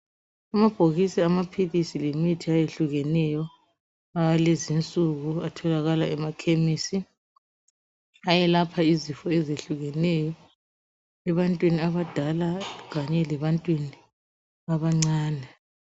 Amabhokisi amaphilisi lemithi ayehlukeneyo awalezinsuku atholakala emakhemisi ayelapha izifo ezehlukeneyo ebantwini abadala kanye lebantwini abancane.